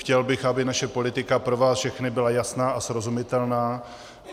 Chtěl bych, aby naše politika pro vás všechny byla jasná a srozumitelná.